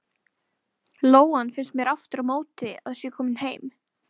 Lóan finnst mér aftur á móti að sé komin heim.